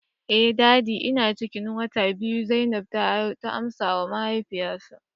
eh daddy ina ciki wata biyu zainab ta amsawa mahaifi say